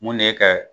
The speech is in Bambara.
Mun de ye ka